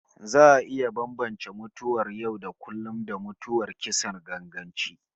Za a iya bambance tsakanin mutuwar yau-da-kullum, da mutuwar kisan ganganci